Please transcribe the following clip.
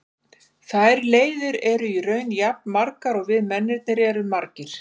Þær leiðir eru í raun jafn margar og við mennirnir erum margir.